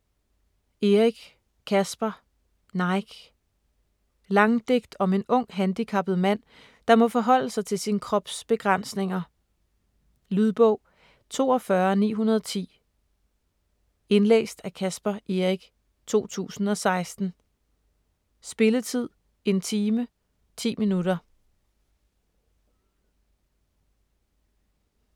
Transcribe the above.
Eric, Caspar: Nike Langdigt om en ung, handicappet mand, der må forholde sig til sin krops begrænsninger. Lydbog 42910 Indlæst af Caspar Eric, 2016. Spilletid: 1 time, 10 minutter.